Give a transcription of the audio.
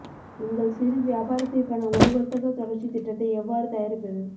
உங்கள் சிறு வியாபாரத்திற்கான ஒரு வர்த்தக தொடர்ச்சித் திட்டத்தை எவ்வாறு தயாரிப்பது